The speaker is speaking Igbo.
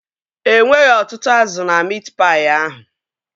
E nweghị ọtụtụ azụ na miit paị ahụ